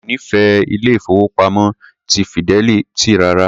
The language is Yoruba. Èmi ò nífẹ̀ẹ́ ilé-ìfowópamọ́ ti Fidelity rárá.